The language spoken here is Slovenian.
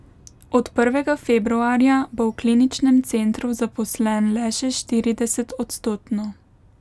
Od prvega februarja bo v kliničnem centru zaposlen le še štiridesetodstotno.